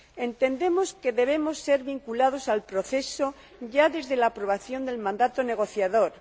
Entendemos que debemos ser vinculados al proceso ya desde la aprobación del mandato negociador.